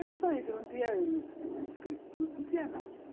Era só isso, não tinha escritura, não tinha nada.